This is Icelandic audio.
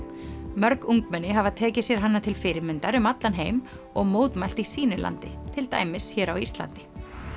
mörg ungmenni hafa tekið sér hana til fyrirmyndar um allan heim og mótmælt í sínu landi til dæmis hér á Íslandi